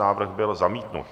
Návrh byl zamítnut.